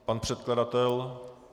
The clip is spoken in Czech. Pan předkladatel?